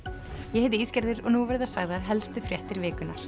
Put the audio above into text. ég heiti Ísgerður og nú verða sagðar helstu fréttir vikunnar